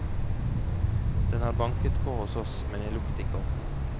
Den har banket på hos oss, men jeg lukket ikke opp.